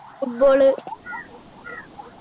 football